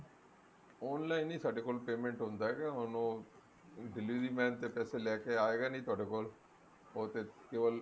online ਹੀ ਸਾਡੇ ਕੋਲ payment ਹੁੰਦਾ ਹੈ ਹੁਣ ਉਹ delivery man ਤਾਂ ਪੈਸੇ ਲੈਕੇ ਆਏਗਾ ਨਹੀਂ ਤੁਹਾਡੇ ਕੋਲ ਉਹ ਤੇ ਕੇਵਲ